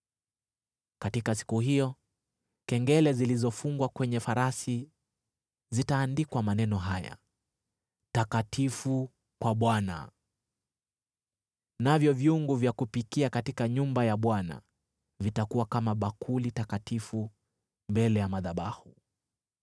Katika siku hiyo, kengele zilizofungwa kwenye farasi zitaandikwa maneno haya: Takatifu kwa Bwana , navyo vyungu vya kupikia katika nyumba ya Bwana vitakuwa kama bakuli takatifu mbele ya madhabahu.